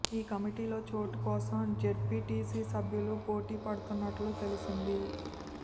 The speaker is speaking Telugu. ఈ కమిటీలో చోటు కోసం జెడ్పీటీసీ సభ్యులు పోటీ పడుతున్నట్లు తెలిసింది